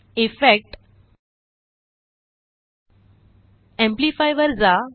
effect GTGT amplify वर जा